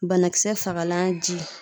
Banakisɛ fagalan ji